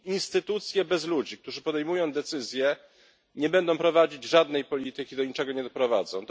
Instytucje bez ludzi, którzy podejmują decyzje, nie będą prowadzić żadnej polityki, do niczego nie doprowadzą.